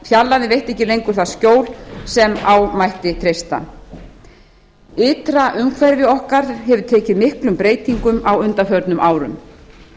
fjarlægðin veitti ekki lengur það skjól sem á mætti treysta ytra umhverfi okkar hefur tekið miklum breytingum á undanförnum árum